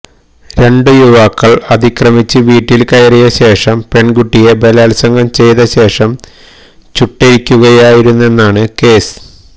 രണ്ട് യുവാക്കള് അതിക്രമിച്ച് വീട്ടില് കയറിയ ശേഷം പെണ്കുട്ടിയെ ബലാത്സംഗം ചെയ്ത ശേഷം ചുട്ടെരിക്കുകയായിരുന്നെന്നാണ് കേസ്